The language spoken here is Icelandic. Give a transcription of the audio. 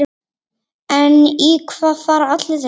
En í hvað fara allir þessir peningar?